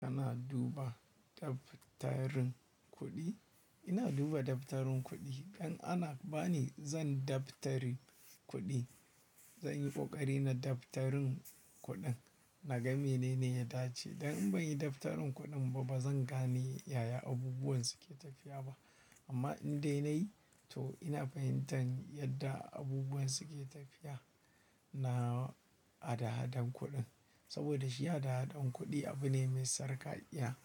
Kana duba daftarin kuɗi? Ina duba daftarin kuɗi. Idan ana ba ni, zan daftari kuɗi. Zan yi ƙoƙari na daftarin kuɗin. Na gane mene ya dace. Dan in ban yi daftarin kuɗin ba, ba zan gane yaya abubuwan suke tafiya ba. Amma in dai na yi, to ina fahimtar yadda abubuwan suke tafiya na adahadan kuɗin. Saboda shi adahadan kuɗi abu ne mai sarƙaƙiya.